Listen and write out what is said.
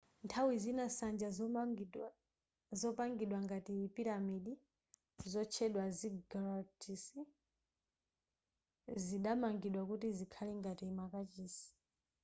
nthawi zina nsanja zopangidwa ngati piramidi zotchedwa ziggurats zidamangidwa kuti zikhale ngati makachisi